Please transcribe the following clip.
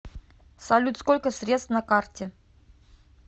салют сколько средств на карте